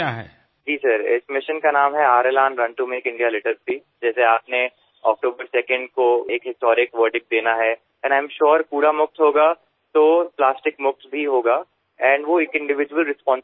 হ্যাঁ স্যারএইমিশনের নাম রেখেছি run to make India litter ফ্রি২রা অক্টোবরআপনিযেভাবে একটি ঐতিহাসিক রায় দেবেন আমি নিশ্চিত আবর্জনা মুক্ত হবে এই দেশ এবং ব্যক্তিগত দায়বদ্ধতাও আসবে